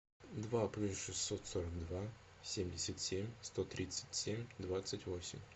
два плюс шестьсот сорок два семьдесят семь сто тридцать семь двадцать восемь